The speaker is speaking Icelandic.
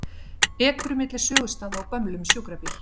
Ekur milli sögustaða á gömlum sjúkrabíl